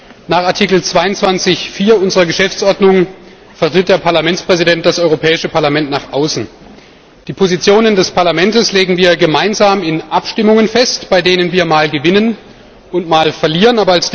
Gemäß Artikel 22 Absatz 4 unserer Geschäftsordnung vertritt der Parlamentspräsident das Europäische Parlament nach außen. Die Positionen des Parlaments legen wir gemeinsam in Abstimmungen fest, bei denen wir mal gewinnen und mal verlieren.